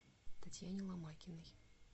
татьяне ломакиной